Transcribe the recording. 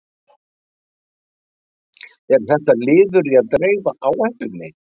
Er þetta liður í að dreifa áhættunni?